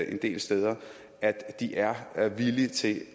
en del steder at de er er villige til